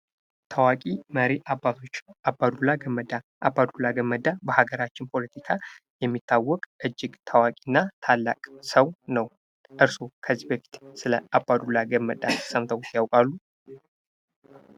ታዋቂ መሪ አባቶች አባዱላ ገመዳ አባ ዱላ ገመዳ በሀገራችን ፖለቲካ የሚታወቅ እጅግ ታዋቂና ታላቅ ሰው ነው ። እርስዎ ከዚህ በፊት ስለ አባዱላ ገመዳ ሰምተው ያውቃሉ ?